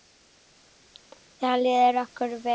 Þá líður okkur vel.